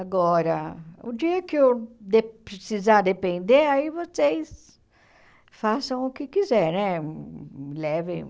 Agora, o dia que eu de precisar depender, aí vocês façam o que quiserem, me levem.